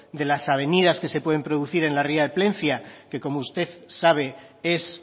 de las avenidas que se pueden producir en la ría de plentzia que como usted sabe es